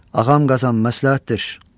Ağam Qazan, məsləhətdir.